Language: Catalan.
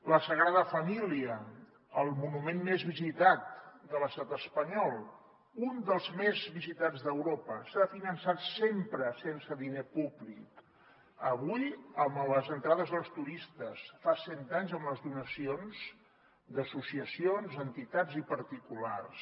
la sagrada família el monument més visitat de l’estat espanyol un dels més visitats d’europa s’ha finançat sempre sense diner públic avui amb les entrades dels turistes fa cent anys amb les donacions d’associacions entitats i particulars